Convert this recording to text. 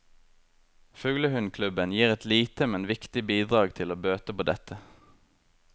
Fuglehundklubben gir et lite, men viktig bidrag til å bøte på dette.